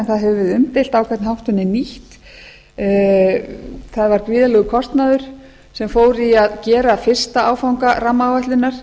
það hefur verið umdeilt á hvern hátt hún er nýtt það var gríðarlegur kostnaður sem fór í að gera fyrsta áfanga rammaáætlunar